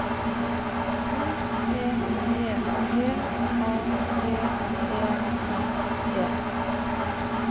O P P G A V E N E